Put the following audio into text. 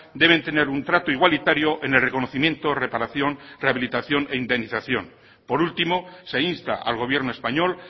deben tener un trato igualitario en el reconocimiento reparación rehabilitación e indemnización por último se insta al gobierno español